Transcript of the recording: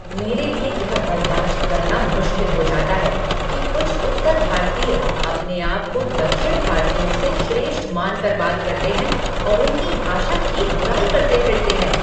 मेरे लिए यह बर्दाश्त करना मुश्किल हो जाता है कि कुछ उत्तर भारतीय अपने आप को दक्षिण भारतीयों से श्रेष्ठ मान कर बात करते हैं और उनकी भाषा की बुराई करते फिरते हैं।